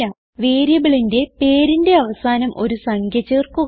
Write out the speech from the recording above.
വേരിയബിളിന്റെ പേരിന്റെ അവസാനം ഒരു സംഖ്യ ചേർക്കുക